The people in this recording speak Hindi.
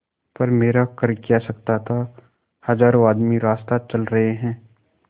पर मेरा कर क्या सकता था हजारों आदमी रास्ता चल रहे हैं